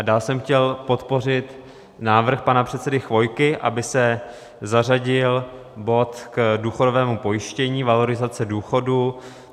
A dál jsem chtěl podpořit návrh pana předsedy Chvojky, aby se zařadil bod k důchodovému pojištění, valorizace důchodů.